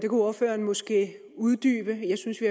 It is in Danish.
ordføreren måske uddybe jeg synes vi